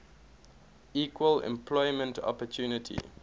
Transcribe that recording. equal employment opportunity